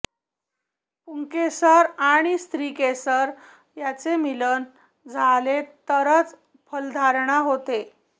पुंकेसर आणि स्त्रीकेसर यांचे मिलन झाले तरच फलधारणा होते